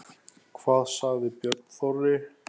Hvað sagði Björn Þorri?